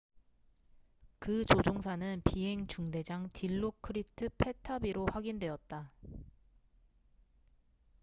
그 조종사는 비행 중대장 딜로크리트 패타비로 확인되었다